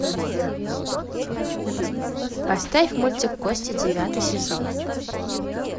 поставь мультик кости девятый сезон